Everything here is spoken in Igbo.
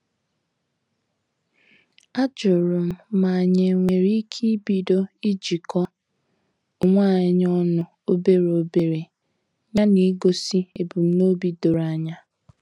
Ajurum ma anyị enwere ike ibido ijiko onwe anyị ọnụ obere obere ya na igosi ebumnobi doro anya.